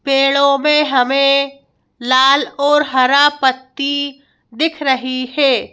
पेड़ों में हमें लाल और हरा पत्ती दिख रही है।